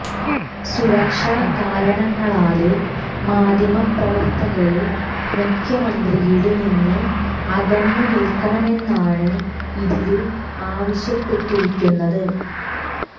സുരക്ഷ കാരണങ്ങളാല് മാധ്യമപ്രവര്ത്തകര് മുഖ്യമന്ത്രിയില് നിന്ന് അകന്നു നില്ക്കണമെന്നാണ് ഇതില് ആവശ്യപ്പെട്ടിരിക്കുന്നത്